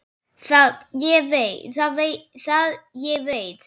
Það ég veit.